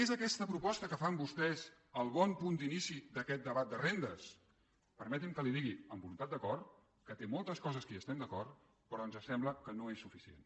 és aquesta proposta que fan vostès el bon punt d’inici d’aquest debat de rendes permeti’m que li digui amb voluntat d’acord que té moltes coses que hi estem d’acord però ens sembla que no és suficient